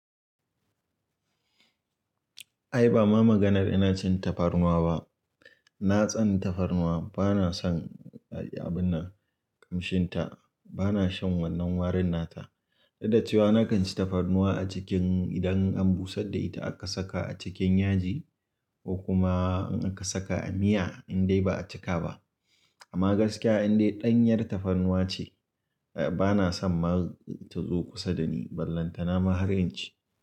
Ai ba ma maganar ina cin tafarnuwa ba. Na tsani tafarnuwa, bana son abunnan, kamshin ta, bana shan wannan warin nata. Duk dacewa na kan ci tafarnuwa a cikin, idan an busar da ita aka saka a cikin yaji, ko kuma in aka saka a miya, in dai ba'a cika ba. Amma gaskiya in dai ɗanyar tafarnuwa ce, bana son ma ta zo kusa da ni. Ballanta na ma har inci.